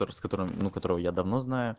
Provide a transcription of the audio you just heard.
котор с которым ну которого я давно знаю